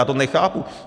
Já to nechápu.